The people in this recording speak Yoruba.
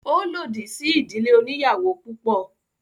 Ó lòdì sí ìdílé oníyàwò púpọ̀.